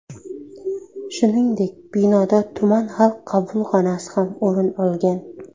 Shuningdek, binoda tuman xalq qabulxonasi ham o‘rin olgan.